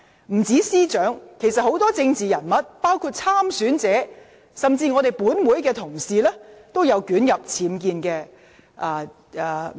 不單司長，其實多位政治人物，包括有意參選者及本會議員在內，也曾捲入僭建風波。